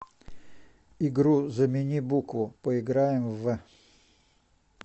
игру замени букву поиграем в